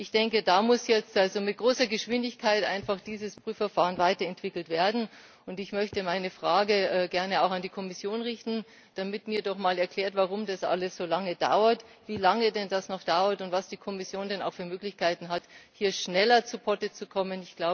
Ich denke, da muss jetzt also mit großer Geschwindigkeit einfach dieses Prüfverfahren weiterentwickelt werden. Und ich möchte meine Frage gerne auch an die Kommission richten, damit man mir doch mal erklärt, warum das alles so lange dauert, wie lange das denn noch dauert, und was die Kommission denn für Möglichkeiten hat, hier schneller zu Potte zu kommen.